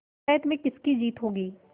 पंचायत में किसकी जीत होगी